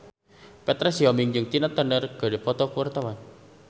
Petra Sihombing jeung Tina Turner keur dipoto ku wartawan